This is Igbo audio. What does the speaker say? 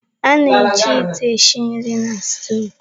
A na-eji ite esi nri na stoovu.